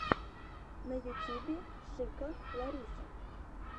на ютубе шика лариса